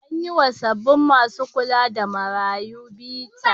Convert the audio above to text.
An yi wa sabbin masu kula da marayu bita.